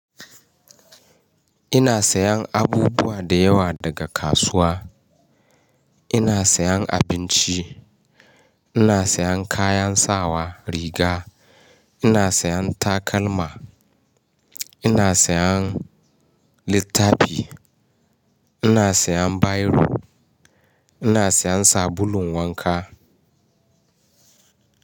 Ina sayan abubuwa da yawa daga kasuwa. Ina sayan abinci, ina sayan kayan sawa riga, ina sayan takalma, ina sayan littafi, ina sayan bairo, ina sayan sabulun wanka.